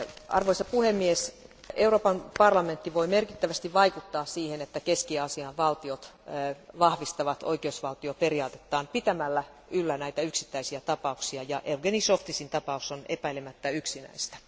Arvoisa puhemies, Euroopan parlamentti voi merkittävästi vaikuttaa siihen, että Keski Aasian valtiot vahvistavat oikeusvaltioperiaatetta pitämällä yllä näitä yksittäisiä tapauksia, ja Jevgeni Zhovtisin tapaus on epäilemättä yksi niistä.